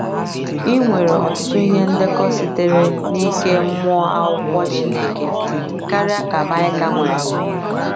I nwere ọtụtụ ihe ndekọ sitere n’ike mmụọ Akwụkwọ Chineke karịa ka Maịka nwere.